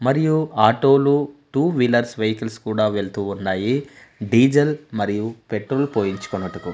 మరియు ఆటో లు two wheelers vehicles కూడా వెళ్తూ ఉన్నాయి డీజెల్ మరియు పెట్రోల్ పోయించుకొనుటకు.